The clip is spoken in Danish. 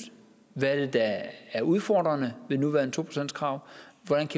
hvad der er udfordrende ved det nuværende to procentskrav